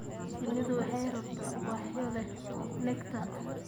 Shinnidu waxay rabtaa ubaxyo leh nectar.